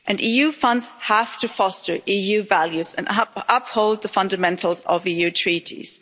EU funds have to foster EU values and uphold the fundamentals of EU treaties.